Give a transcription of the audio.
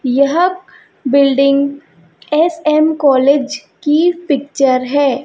यह building S M college की picture है।